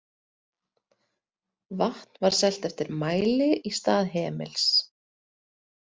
Vatn var selt eftir mæli í stað hemils.